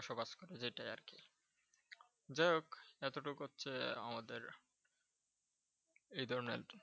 যেটাই আর কি যাই হোক এতটুকু হচ্ছে আমাদের এই ধর্মের আরকি।